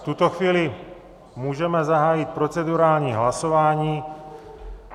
V tuto chvíli můžeme zahájit procedurální hlasování.